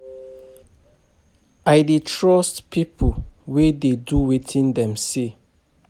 I dey trust pipo wey dey do wetin dem say.